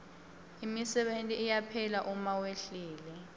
imisebenti iyaphela uma wehlile